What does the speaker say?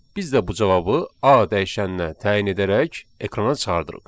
Biz də bu cavabı A dəyişəninə təyin edərək ekrana çıxardırıq.